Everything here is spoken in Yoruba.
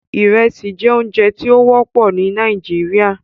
Ìrẹsì jẹ́ oúnjẹ tí ó wọ́pọ̀ ní Nàìjíríà